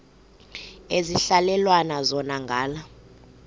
ekuhhalelwana zona ngala